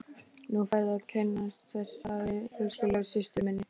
Nú færðu að kynnast þessari elskulegu systur minni!